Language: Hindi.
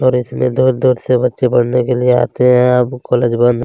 और इसमें दूर दूर से बच्चे पढ़ने के लिए आते है अब कॉलेज बंद।